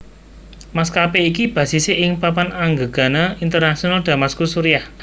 Maskapé iki basise ing Papan Anggegana Internasional Damaskus Suriah